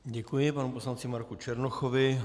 Děkuji panu poslanci Marku Černochovi.